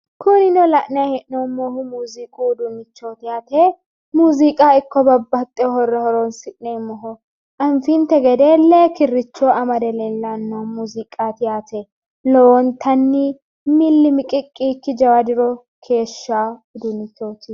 Kunino la'nayi hee'noommohu muziiqu uduunnichooti yaate muziiqaho ikko babbaxxeyo horora horonsi'neemmoho anfinte gede lee kirricho amade leellanno muziiqaari yaate lowontanni milli miqiqqi yiikkinni jawa diro keeshshawo uduunnichooti.